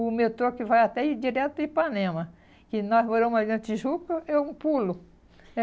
o metrô que vai até e direto a Ipanema, que nós moramos aí na Tijuca, é um pulo.